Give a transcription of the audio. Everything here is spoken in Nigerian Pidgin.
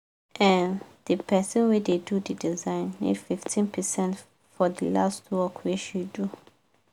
um d person wey da do d design nego 15 percent for the last work wey she do